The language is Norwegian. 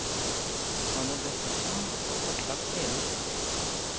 Man må dessuten få kartlagt hele historien.